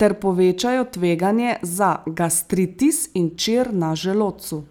ter povečajo tveganje za gastritis in čir na želodcu.